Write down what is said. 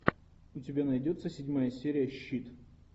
у тебя найдется седьмая серия щит